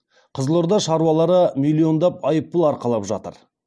қызылорда шаруалары миллиондап айыппұл арқалап жатыр